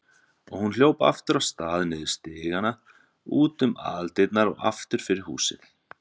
Og hún hljóp aftur af stað, niður stigana, út um aðaldyrnar og aftur fyrir húsið.